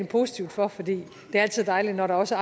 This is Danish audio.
positivt for for det er altid dejligt når der også